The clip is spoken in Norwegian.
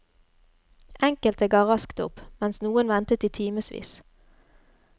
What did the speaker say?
Enkelte ga raskt opp, mens noen ventet i timesvis.